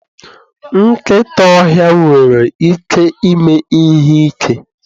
nkịta ọhịa nwere ike ime ihe ike.